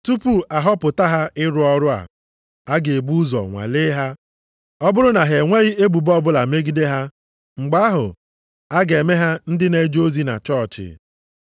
Tupu a họpụta ha ịrụ ọrụ a, a ga-ebu ụzọ nwalee ha. Ọ bụrụ na ha enweghị ebubo ọbụla megide ha, mgbe ahụ, a ga-eme ha ndị na-eje ozi na chọọchị.